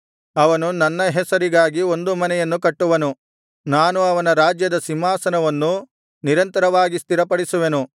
ಅವನು ನನ್ನ ಹೆಸರಿಗಾಗಿ ಒಂದು ಮನೆಯನ್ನು ಕಟ್ಟುವನು ನಾನು ಅವನ ರಾಜ್ಯದ ಸಿಂಹಾಸನವನ್ನು ನಿರಂತರವಾಗಿ ಸ್ಥಿರಪಡಿಸುವೆನು